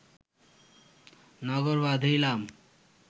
নগর বাঁধিলাম